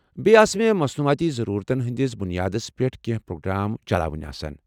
بییٚہِ آسہٕ مےٚ مصنوعاتی ضرورتن ہٕنٛدِس بُنیادس پیٚٹھ کیٚنٛہہ پروگرام چلاوٕنۍ آسان ۔